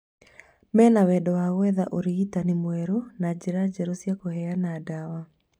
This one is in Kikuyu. Mena wendo wa gwetha ũrigitani mwerũ na njĩra njerũ cia kũheana ndawa